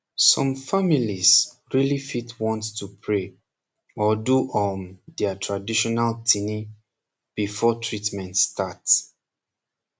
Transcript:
som families reali fit want to pray or do um dia traditional tini befor treatment start